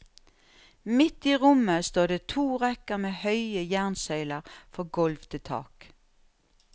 Midt i rommet står det to rekker med høye jernsøyler fra gulv til tak.